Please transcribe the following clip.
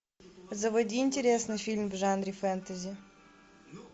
заводи интересный фильм в жанре фэнтези